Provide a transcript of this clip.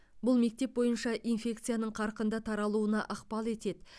бұл мектеп бойынша инфекцияның қарқынды таралуына ықпал етеді